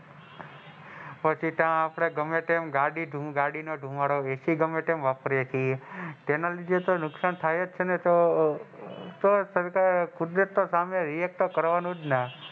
પછી તે આપડે ગમે તમ ગાડી નો ધુવાળો એસિ ગમે તેમ વાપરીએ છીએ તેના લીધે તો નુકસાન થાયજ છે ને તો તો સરકાર કુદરત ના સામે રિએક્ટ તો કરવાનું જ ને.